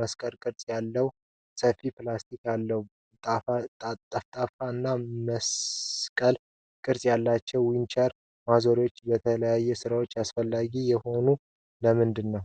መስቀልቅርፅ ያለውጫፍ (ፊሊፕስ) አለው። ጠፍጣፋ እና መስቀል ቅርፅ ያላቸው ዊንች ማዞሪያዎች ለተለያዩ ስራዎች አስፈላጊ የሆኑት ለምንድን ነው?